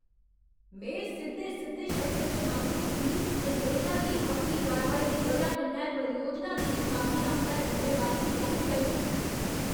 में सिद्धे सिद्धे शब्दें च मंग कीती जे नेता गी अपनी कारवाई दी बजाह् कन्नै परियोजना दी नकामी आस्तै जुम्मेवारी लैनी चाही दी।